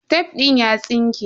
Tef din ya tsinke.